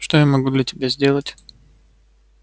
что я могу для тебя сделать